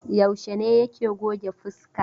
Yaushe ne yake goge fuska?